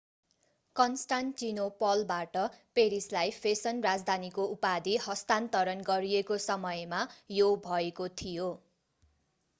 कन्स्टान्टिनोपलबाट पेरिसलाई फेसन राजधानीको उपाधि हस्तान्तरण गरिएको समयमा यो भएको थियो